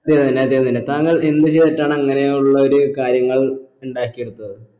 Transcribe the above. ചെയ്യുന്നില്ല ചെയ്യുന്നില്ല താങ്കൾ എന്ത് ചെയ്തിട്ടാണ് അങ്ങനെയുള്ള ഒരു കാര്യങ്ങൾ ഉണ്ടാക്കിയെടുത്തത്